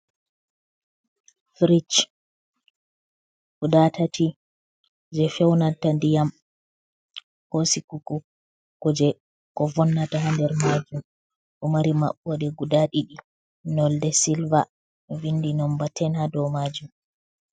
Frish guda tati je feunata ndiyam, ko sigugo kuje ko vonnata ha nder majum, ɗo mari maɓɓode guda ɗiɗi, nolde silver vindi nomber 10 ha do majum.